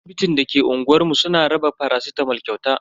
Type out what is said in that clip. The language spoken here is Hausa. Asibitin da ke unguwar mu suna raba faracitamol kyauta.